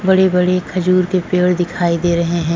बड़े-बड़े खजूर के पेड़ दिखाई दे रहे हैं।